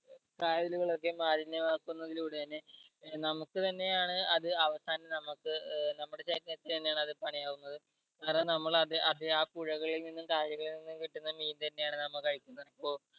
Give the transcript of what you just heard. കായലുകളും ഒക്കെ മാലിന്യമാക്കുന്നതിലൂടെ തന്നെ നമുക്ക് തന്നെ ആണ് അത് അവസാനം നമ്മക്ക് ഏർ നമ്മുടെ ശരീരത്തിന് തന്നെ ആണ് അത് പണിയാകുന്നത് കാരണം നമ്മളത് അത് ആ പുഴകളിൽ നിന്നും കായലുകളിൽ നിന്നും കിട്ടുന്ന മീൻ തന്നെ ആണ് നമ്മ കഴിക്കുന്നത് ഇപ്പൊ